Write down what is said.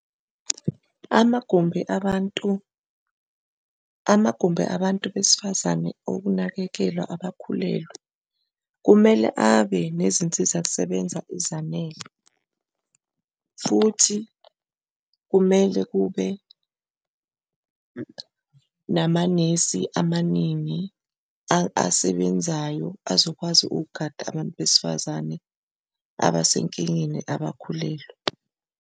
Amagumbi abantu, amagumbi abantu besifazane okunakekela abakhulelwe kumele abe nezinsizakusebenza ezanele, futhi kumele kube namanesi amaningi asebenzayo azokwazi ukugada abantu besifazane abasenkingeni abakhulelwe.